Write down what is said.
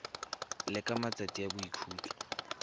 le ka matsatsi a boikhutso